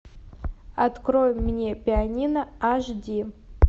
открой мне пианино аш ди